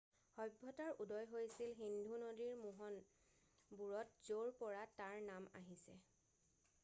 সভ্যতাৰ উদয় হৈছিল সিন্ধু নদীৰ মোহন বোৰত য'ৰপৰা তাৰ নাম আহিছে